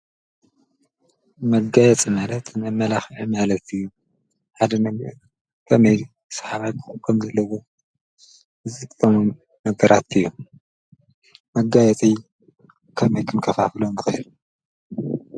መጋየፂ ማለት መመላኽዕ ማለት እዩ። ሓደ ነገር ከመይ ሰሓባይ ክኮን ከም ዘለዎ ዝኮን ዝጠቅሙ ነገራት እዩም። መጋየፂ ከመይ ክንከፋፍሎም ንክእል?